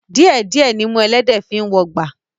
Díẹ̀ díẹ̀ nimú ẹlẹ́dẹ̀ẹ́ fi ń wọgbà